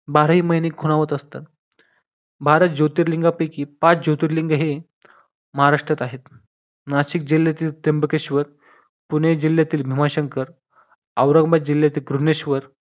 बाराही महिने खुणावत असतं भारत ज्योतिर्लिंगापैकी पाच ज्योतिर्लिंग हे महाराष्ट्रात आहे नाशिक जिल्ह्यातील त्र्यंबकेश्वर पुणे जिल्ह्यातील भीमाशंकर औरंगाबाद जिल्ह्यातील भुवनेश्वर